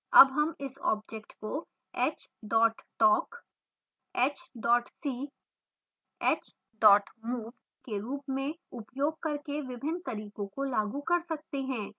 अब हम इस object को h talk ; h see ; h move ; के रूप में उपयोग करके विभिन्न तरीकों को लागू कर सकते हैं